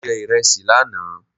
Mo jẹ ìresì lánàá